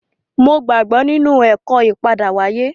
Mo gbàgbọ́ nínú ẹ̀kọ́ ìpadáwáyé